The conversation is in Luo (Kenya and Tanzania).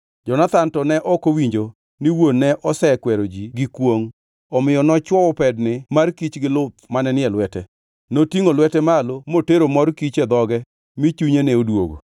Jonathan to ne ok owinjo ni wuon ne ose kwero ji gi kwongʼ, omiyo nochwowo pedni mar kich gi luth mane ni e lwete. Notingʼo lwete malo motero mor kich e dhoge mi chunye ne odwogo.